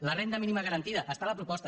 la renda mínima garantida està a la proposta